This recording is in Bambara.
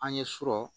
An ye sɔrɔ